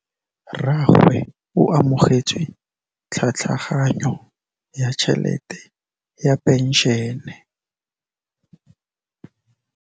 Rragwe o amogetse tlhatlhaganyô ya tšhelête ya phenšene.